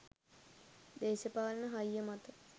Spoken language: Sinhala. දේශපාලන හයිය මත